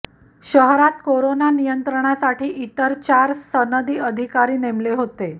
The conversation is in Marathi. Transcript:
शहरात करोना नियंत्रणासाठी इतर चार सनदी अधिकारी नेमले होते